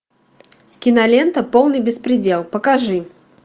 кинолента полный беспредел покажи